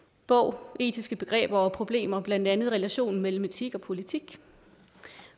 bog etiske begreber og problemer blandt andet relationen mellem etik og politik